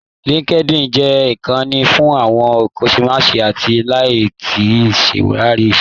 LinkedIn jẹ́ ìkanni fún àwọn akọ́ṣẹ́mọṣẹ́ àti láti ṣàwárí iṣẹ́.